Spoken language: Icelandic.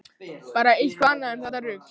Bara eitthvað annað en þetta rugl.